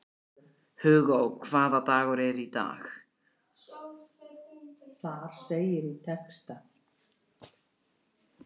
Hugó, hvaða dagur er í dag?